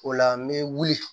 O la n bɛ wuli